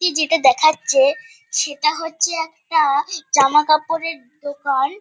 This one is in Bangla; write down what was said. টি যেটা দেখাচ্ছে সেটা হচ্ছে একটা-আ জামাকাপড়ের দোকান।